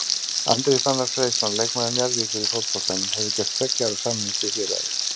Andri Fannar Freysson leikmaður Njarðvíkur í fótboltanum hefur gert tveggja ára samning við félagið.